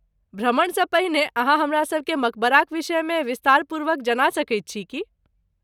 भ्रमणसँ पहिने अहाँ हमरा सभके मकबराक विषयमे विस्तारपूर्वक जना सकैत छी की?